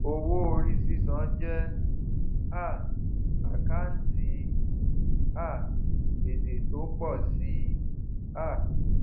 owó orí sísan jẹ um àkántì um gbèsè tó ń pọ sí i um